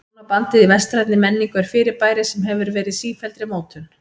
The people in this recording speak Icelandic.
Hjónabandið í vestrænni menningu er fyrirbæri sem hefur verið í sífelldri mótun.